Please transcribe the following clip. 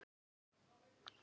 Aðra segir hann hafa grátið.